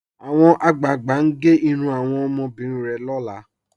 Awọn agbáàgbà n gè irùn awọn omọbìrín rẹ̀ lọ́lá.